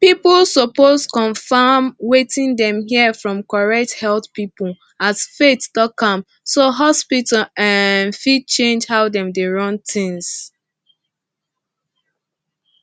people suppose confirm wetin dem hear from correct health people as faith talk am so hospital um fit change how dem dey run things